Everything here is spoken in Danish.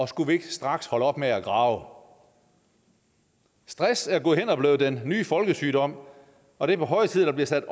skulle vi ikke straks holde op med at grave stress er gået hen og blevet den nye folkesygdom og det er på høje tid at der bliver sat